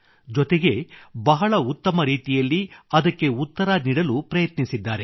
ಜೊತೆಗೆ ಬಹಳ ಉತ್ತಮ ರೀತಿಯಲ್ಲಿ ಅದಕ್ಕೆ ಉತ್ತರ ನೀಡಲು ಪ್ರಯತ್ನಿಸಿದ್ದಾರೆ